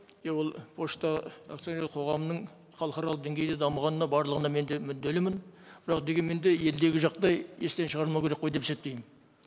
и ол пошта акционерлік қоғамының халықаралық деңгейде дамығанына барлығына мен де мүдделімін бірақ дегенмен де елдегі жағдай естен шығармау керек қой деп есептеймін